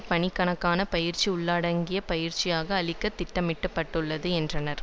பணிக்கான பயிற்சி உள்ளடங்கிய பயிற்சியாக அளிக்க திட்டமிட பட்டுள்ளது என்றார்